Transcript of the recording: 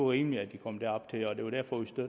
rimeligt at de kom derop det